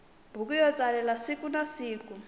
buku yo tsalela sikunasiku